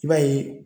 I b'a ye